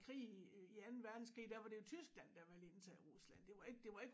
Krig øh i anden verdenskrig der var det jo Tyskland der ville indtage Rusland det var ikke det var ikke